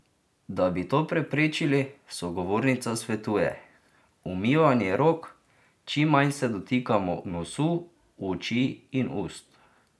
Da bi to preprečili, sogovornica svetuje: "Umivanje rok, čim manj se dotikamo nosu, oči in ust.